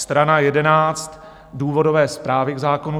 Strana 11 důvodové zprávy k zákonu.